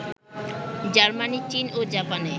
Germany, চীন ও জাপানে